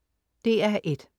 DR1: